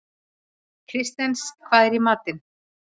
Kristens, hvað er í matinn?